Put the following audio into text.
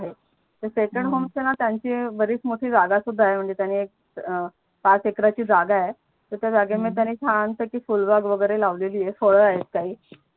आणि सेकंड होमचणा त्यांची बरीच मोठी जागा सुद्धा आहे म्हणजे त्यांनी पाच एकाराची जागा आहे तर त्या जागेमध्ये त्यांनी छान पैकी फूलबाग वगेरे लावलेली आहे फड आहेत काही